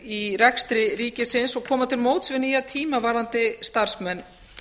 í rekstri ríkisins og koma til móts við nýja tíma varðandi starfsmenn